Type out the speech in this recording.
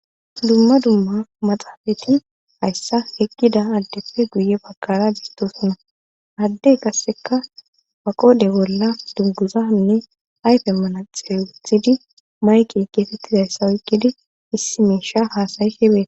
dumma dumma maxafeti hayssa eqqida adeppe guyye bagara beettoosona;ade qasseka ba qodhe bolla dunguzanne ayfe manaxire wothidi maykke geetethizayssa oyqqidi issi miishsha haasa7ishe bet.